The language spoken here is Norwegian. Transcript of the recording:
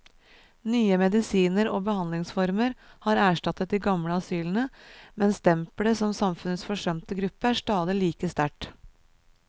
Nye medisiner og behandlingsformer har erstattet de gamle asylene, men stempelet som samfunnets forsømte gruppe er stadig like sterkt.